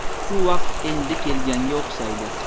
Shu vaqt endi kelganga o‘xshaydi.